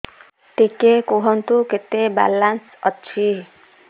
ଟିକେ କୁହନ୍ତୁ କେତେ ବାଲାନ୍ସ ଅଛି